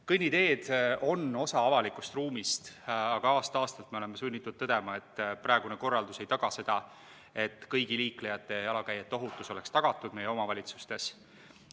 Kõnniteed on osa avalikust ruumist, aga aasta-aastalt me oleme sunnitud tõdema, et praegune korraldus ei taga seda, et kõigi liiklejate ja jalakäijate ohutus oleks tagatud meie omavalitsustes.